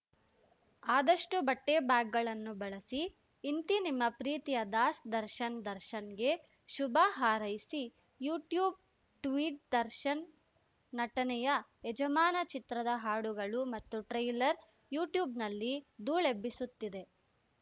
ಆದಷ್ಟುಬಟ್ಟೆಬ್ಯಾಗ್‌ಗಳನ್ನು ಬಳಸಿ ಇಂತಿ ನಿಮ್ಮ ಪ್ರೀತಿಯ ದಾಸ್ ದರ್ಶನ್‌ ದರ್ಶನ್‌ಗೆ ಶುಭ ಹಾರೈಸಿ ಯೂಟ್ಯೂಬ್‌ ಟ್ವೀಟ್‌ ದರ್ಶನ್‌ ನಟನೆಯ ಯಜಮಾನ ಚಿತ್ರದ ಹಾಡುಗಳು ಮತ್ತು ಟ್ರೈಲರ್‌ ಯೂಟ್ಯೂಬ್‌ನಲ್ಲಿ ಧೂಳೆಬ್ಬಿಸುತ್ತಿದೆ